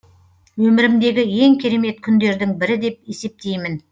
өмірімдегі ең керемет күндердің бірі деп есептеймін